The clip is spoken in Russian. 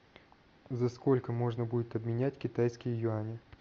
за сколько можно будет обменять китайские юани